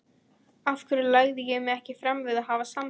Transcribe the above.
Af hverju lagði ég mig ekki fram við að hafa samband?